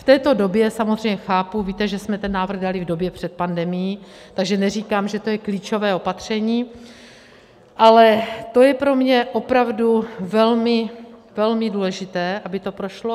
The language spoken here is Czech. V této době, samozřejmě chápu, víte, že jsme ten návrh dali v době před pandemií, takže neříkám, že to je klíčové opatření, ale to je pro mě opravdu velmi, velmi důležité, aby to prošlo.